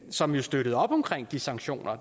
som støttede op om de sanktioner